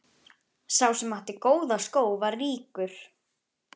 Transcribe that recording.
Sá sem átti góða skó var ríkur.